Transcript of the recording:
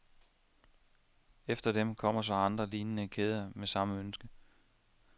Efter dem kommer så andre lignende kæder med samme ønske.